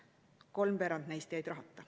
Kolmveerand neist jäid rahata.